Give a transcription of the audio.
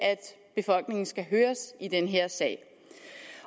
befolkningen skal høres i den her sag